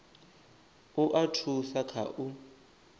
u a thusa kha u